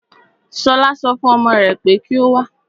Ṣọlá so fún ọmọ rè pé kí o wá.